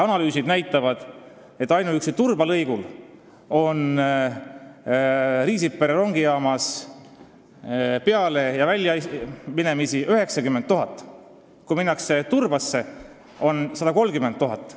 Analüüsid näitavad, et ainuüksi Riisipere rongijaamas on 90 000 pealeminekut ja väljumist, kui sõidetakse Turbasse, on neid 130 000.